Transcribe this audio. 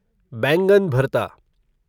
बैंगन भरता